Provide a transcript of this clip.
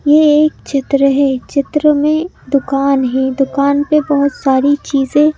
ये एक चित्र है चित्र में दुकान है दुकान पे बहुत सारी चीजें--